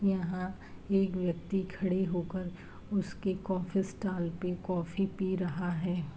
यहाँ एक व्यक्ति खड़े होकर उसके कॉफ़ी स्टाल पे कॉफ़ी पी रहा है।